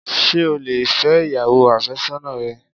Sé o lè fẹ́ ìyàwó àfésọ́nà rẹ?